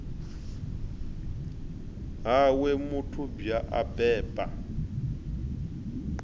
ha we mathubwa a beba